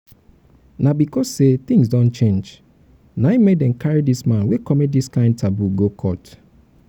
na because sey tins don change na im make dem carry dis man wey commit dis kind taboo go court.